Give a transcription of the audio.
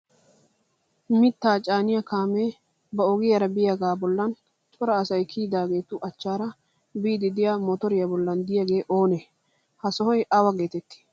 mittaa caaniya kaamee ba ogiyaara biyaagaa bollan cora asay kiyidaageetu achchaara biiddi diya motoriya bollan diyaagee oonee? ha sohoy awa geetettii?